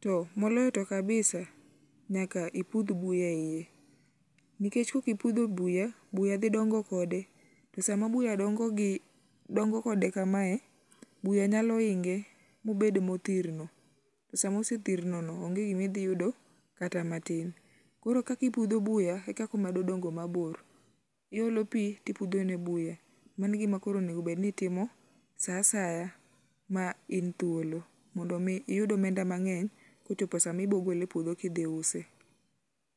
to moloyo kabisa nyaka ipudh buya eiye nikech kaokm ipudho buya, buya dhi dongo kode sama buya dongo gi dongo kode kamae buya nyalo inge mobed mothirno. Sama ose thirnono onge gima idhi yudo kata matin. Koro kaka ipudho buya ekaka omedo dongo mabor. Iolo pi to imedo pudho nr buya. Mano e gima onego bed ni itimo saa asaya ma n thuolo mond mi iyud omenda mang'eny kochopo sa gole epuodho ka idhi use.